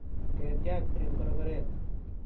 ketiach eng korkoret